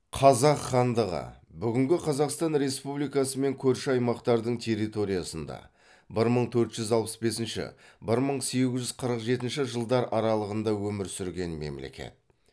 қазақ хандығы бүгінгі қазақстан республикасы мен көрші аймақтардың территориясында бір мың төрт жүз алпыс бесінші бір мың сегіз жүз қырық жетінші жылдар аралығында өмір сүрген мемлекет